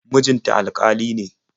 Mijin ta alƙali ne.